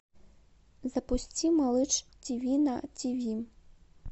запусти малыш тв на тв